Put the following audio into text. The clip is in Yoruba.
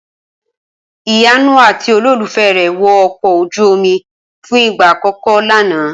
Ìyanu àti olólùfẹ́ rè wo ọkọ̀ ojú omi fún ìgbà àkọ́kọ́ lánàá